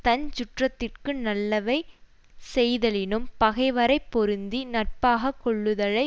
தஞ் சுற்றத்திற்கு நல்லவை செய்தலினும் பகைவரை பொருந்தி நட்பாக கொள்ளுதலை